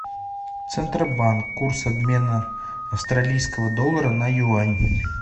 центробанк курс обмена австралийского доллара на юань